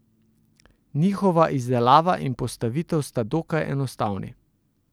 Njihova izdelava in postavitev sta dokaj enostavni.